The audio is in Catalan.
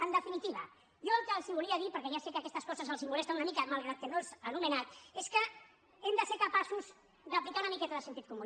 en definitiva jo el que els volia dir perquè ja sé que aquestes coses els molesten una mica malgrat que no els he anomenat és que hem de ser capaços d’aplicar una miqueta de sentit comú